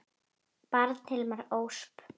Barn: Hilma Ösp.